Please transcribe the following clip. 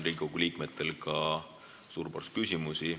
Riigikogu liikmetel on teile ka suur ports küsimusi.